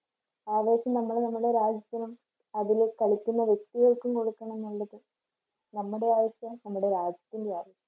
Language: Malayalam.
ആവേശം നമ്മൾ നമ്മുടെ രാജ്യത്തിനും അതില് കളിക്കുന്ന വ്യക്തികൾക്കും കൊടുക്കണം എന്നുള്ളത് നമ്മുടെ ആവശ്യമാണ്, നമ്മുടെ രാജ്യത്തിൻറെ ആവശ്യമാണ്.